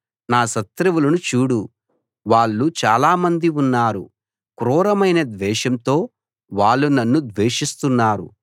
నా శత్రువులను చూడు వాళ్ళు చాలా మంది ఉన్నారు క్రూరమైన ద్వేషంతో వాళ్ళు నన్ను ద్వేషిస్తున్నారు